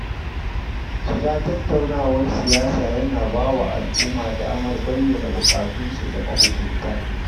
Shiga tattaunawar siyasa yana ba wa al’umma damar bayyana bukatunsu ga mahukunta.